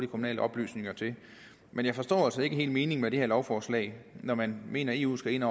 kommunale oplysninger til men jeg forstår altså ikke helt meningen med det her lovforslag når man mener at eu skal ind